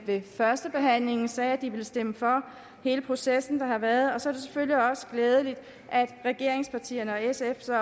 ved førstebehandlingen sagde at de ville stemme for hele processen der har været og så er det selvfølgelig også glædeligt at regeringspartierne og sf